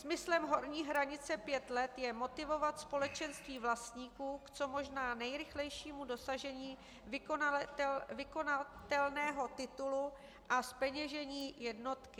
Smyslem horní hranice pět let je motivovat společenství vlastníků k co možná nejrychlejšímu dosažení vykonatelného titulu a zpeněžení jednotky.